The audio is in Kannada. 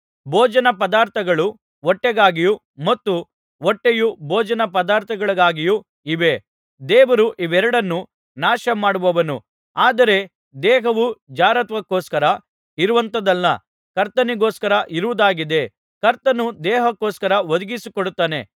ಭೋಜನ ಪದಾರ್ಥಗಳು ಹೊಟ್ಟೆಗಾಗಿಯೂ ಮತ್ತು ಹೊಟ್ಟೆಯು ಭೋಜನಪದಾರ್ಥಗಳಿಗಾಗಿಯೂ ಇವೆ ದೇವರು ಇವೆರಡನ್ನೂ ನಾಶಮಾಡುವನು ಆದರೆ ದೇಹವು ಜಾರತ್ವಕೋಸ್ಕರ ಇರುವಂಥದಲ್ಲ ಕರ್ತನಿಗೋಸ್ಕರ ಇರುವುದಾಗಿದೆ ಕರ್ತನು ದೇಹಕೋಸ್ಕರ ಒದಗಿಸಿಕೊಡುತ್ತಾನೆ